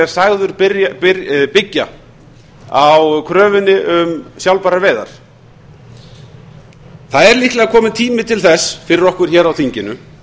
sagður byggja á kröfunni um sjálfbærar veiðar það er líklega kominn tími til þess fyrir okkur hér á þinginu